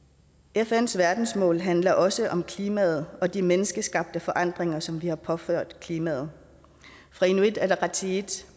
fns verdensmål handler også om klimaet og de menneskeskabte forandringer som vi har påført klimaet fra inuit ataqatigiits